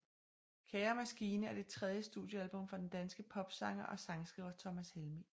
Kære maskine er det tredje studiealbum fra den danske popsanger og sangskriver Thomas Helmig